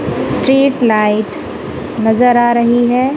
Street light नजर आ रही है।